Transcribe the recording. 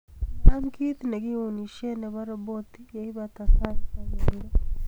inaam kiit negiunisien nebo roboti yeibata sait agenge